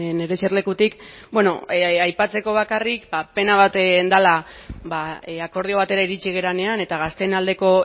nire eserlekutik aipatzeko bakarrik pena bat dela akordio batera iritsi garenean eta gazteen aldeko